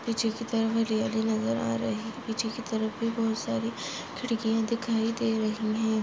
पीछे की तरफ हरियाली नज़र आ रही पीछे की तरफ भी बहुत सारी खिडकिया दिखाई दे रही है।